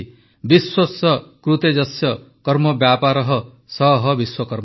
ବିଶ୍ୱସ୍ୟ କୃତେ ଯସ୍ୟ କର୍ମବ୍ୟାପାରଃ ସଃ ବିଶ୍ୱକର୍ମା